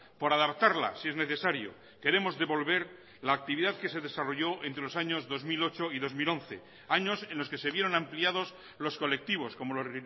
por adaptarla si es necesario queremos devolver la actividad que se desarrolló entre los años dos mil ocho y dos mil once años en los que se vieron ampliados los colectivos como los